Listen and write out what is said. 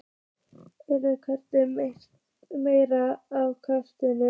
Eru geimverur mættar til jarðarinnar?